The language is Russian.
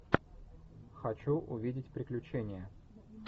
хочу увидеть приключения